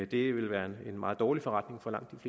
det ville være en meget dårlig forretning for langt